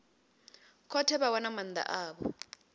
khothe vha wana maanda avho